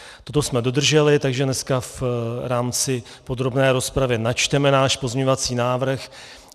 Toto jsme dodrželi, takže dneska v rámci podrobné rozpravy načteme náš pozměňovací návrh.